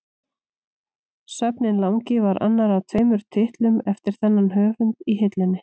Svefninn langi var annar af tveimur titlum eftir þennan höfund í hillunni.